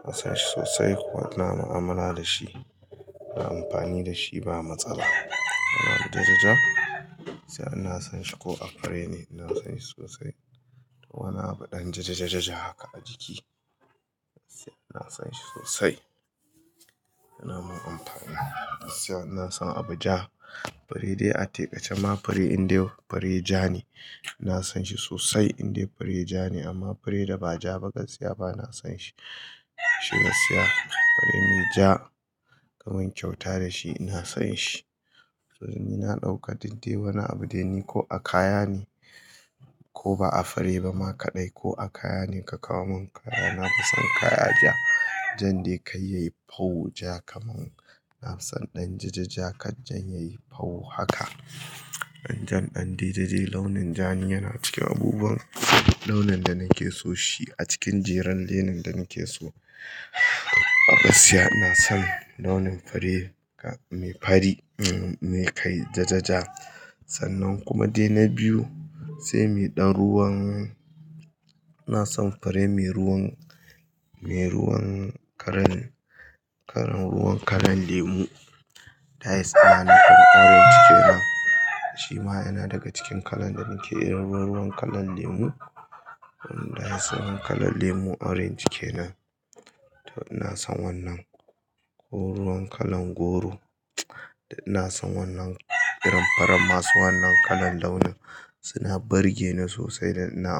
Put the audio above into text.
ɗan jajajaja ina son shi sosai kuma ina mu'amala da shi, ina amfani da shi ba matsala. Wani abu jajaja gaskiya ina son shi ko a fure ne ina son shi sosai. Wane abu ɗan jajajaja haka a jiki, sai ina son shi sosai. Yana mun amfani, gaskiya ina son abu ja fure dai a taƙaice ma fure in dai fure ja ne ina son shi sosai in dai fure ja ne amma fure da ba ja ba gaskiya ba na son shi. Shi yasa, abu mai ja ka mun kyauta da shi ina son shi. To dai ni na ɗauka duk dai wani abu dai ko a kaya ne ko ba a fure ba ma kaɗai ko a kaya ne ka kawo mun kaya nafi son kaya ja. Dan dai kar yayi paw ja kaman. Nafi son ɗan jajaja kar jan yayi paw haka. Ɗan jan ɗan dai dai, launin ja ni yana cikin abubuwan launin da nake son shi a cikin jerin launin da nake so. A gaskiya ina son launin fure mai fari, mai kai jajaja sannan kuma dai na biyu sai mai ɗan ruwan-- ina son fure mai ruwan, mai ruwan kalan, kalan ruwan kalan lemu. That is ana kiransa orange kenan. Shi ma yana daga cikin kalan da nake irin ruwan kalan lemu. Ina son kalan lemu orange kenan. To ina son wannan ko ruwan kalan goro. Ina son wannan irin farar masu wannan kalan launin, suna burge ni sosai dan ina amfani da shi.